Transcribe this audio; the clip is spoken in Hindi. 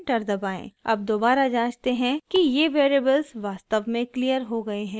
अब दोबारा जाँचते हैं कि ये वेरिएबल्स वास्तव में क्लियर हो गए हैं या नहीं